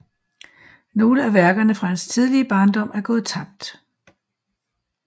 Nogle af værkerne fra hans tidlige barndom er gået tabt